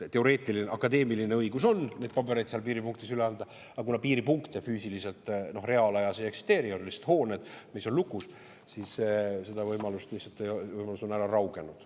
Teoreetiline, akadeemiline õigus on neid pabereid seal piiripunktis üle anda, aga kuna piiripunkte füüsiliselt reaalajas ei eksisteeri, on lihtsalt hooned, mis on lukus, siis see võimalus on ära raugenud.